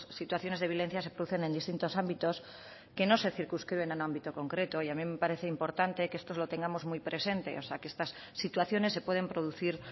situaciones de violencia se producen en distintos ámbitos que no se circunscriben a un ámbito concreto y a mí me parece importante que esto lo tengamos muy presente o sea que estas situaciones se pueden producir